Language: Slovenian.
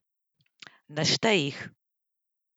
Naštej jih!